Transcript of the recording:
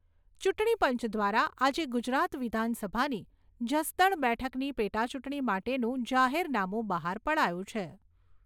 ચૂંટણીપંચ દ્વારા આજે ગુજરાત વિધાનસભાની જસદણ બેઠકની પેટાચૂંટણી માટેનું જાહેરનામુ બહાર પડાયું છે.